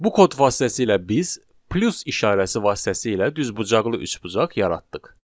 Bu kod vasitəsilə biz plus işarəsi vasitəsilə düzbucaqlı üçbucaq yaratdıq.